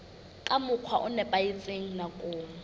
ka mokgwa o nepahetseng nakong